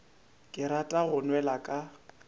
ke rata go nwela ka